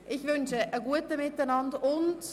Ich wünsche allseits einen guten Appetit.